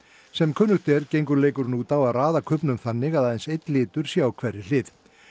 sem kunnugt er gengur leikurinn út að að raða kubbnum þannig að aðeins einn litur sé á hverri hlið